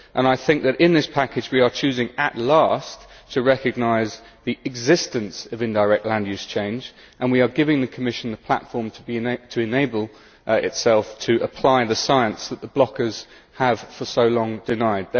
I think that in this package we are choosing, at last, to recognise the existence of indirect land use change and we are giving the Commission the platform to enable itself to apply the science that the blockers have for so long denied.